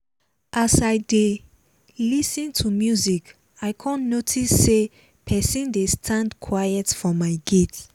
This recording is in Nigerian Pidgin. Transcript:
as i dey lis ten to music i come notice say person dey stand quiet for my gate